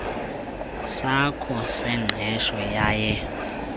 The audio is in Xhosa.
sakho sengqesho yaye